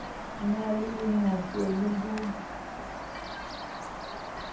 na le lenyatso le ho